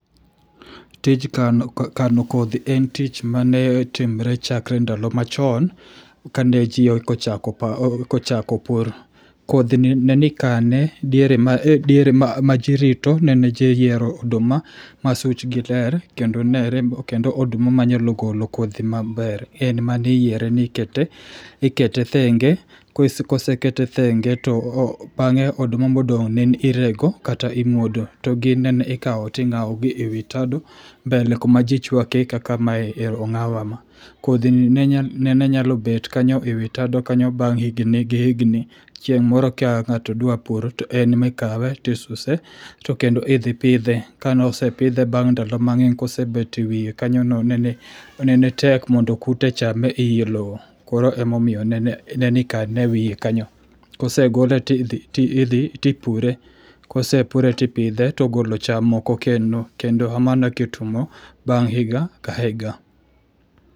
Tij kano kodhi en tich mane timre chakre ndalo machon, kane ji eka ochako, e ka ochako pur. Kodhi ni ne ni ikane e diere ma ma jirito ne ne ji yiero oduma ma such gi ler kendo nere, kendo oduma ma nyalo golo kodhi maber. En mane iyiere nikete, ikete thenge. Kosekete thenge to bang'e oduma modong' ne ni irego kata imuodo. To gi ne ikao ting'ao gi e wi tado mbele kuma jichwake kaka mae e ong'aw kama. Kodhi ni nene nyalo bet kanyo e wi tado kanyo bang' higni gi higni. Chieng' moro ka ng'ato dwa pur to en ma ikawe tisuse to kendo idhi pidhe. Ka nosepidhe bang' ndalo mang'eny kosebet e wiye kanyo no nene tek mondo kute chame e ii loo. Koro emomiyo nene ne nikane e wiye kanyo. Kosegole tidhi tipure. Kosepure tipidhe togolo cham moko kendo. Kendo kamano e ka itimo bang' higa ka higa.